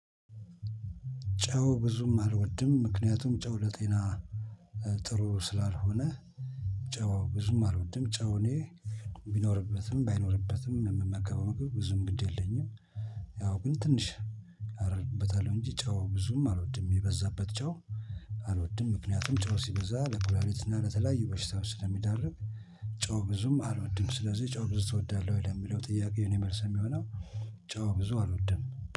ጨው ብዙም አልወድም ምክንያቱም ጨው ለጤና ጥሩ ስላልሆነ። ጨዋዊ ብዙም አልወድም ጨው እኔ ቢኖርበትም ባይኖርበትም የምመገበው ምግብ ብዙም ግድ የለኝም። ያው ግን ትንሽ አደርግበታለሁ እንጂ ጨው ብዙም አልወድም የበዛበት ጨው። አልወድም ምክንያቱም ጨው ሲበዛ ለኩላሊትና ለተለያዩ በሽታው ስለሚዳርግ። ጨው ብዙም አልወድም ስለዚህ ጨው ብዙ እወዳለሁ ወይ ለሚለው ጥያቄ የኔ መልስ የሚሆነው። ጨዋ ብዙ አልወድም